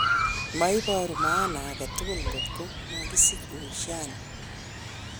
Maiboru maana age tugul ngot ko makisich uhusiano.